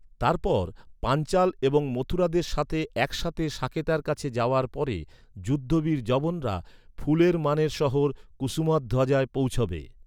তারপর, পাঞ্চাল এবং মথুরাদের সাথে একসাথে সাকেতার কাছে যাওয়ার পরে, যুদ্ধে বীর যবনরা, ফুলের মানের শহর কুসুমাধ্বজায় পৌঁছাবে।